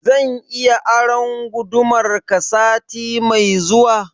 Zan iya aron gudumar ka sati mai zuwa?